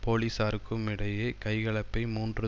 போலீசாருக்கும் இடையே கைகலப்பை மூன்று